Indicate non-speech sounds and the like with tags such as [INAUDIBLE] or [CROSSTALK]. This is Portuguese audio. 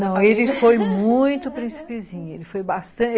Não, [LAUGHS] ele foi muito principezinho. Ele foi bastante.